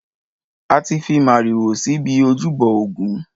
A ti fi màrìwò si ibi ojúbọ ògún.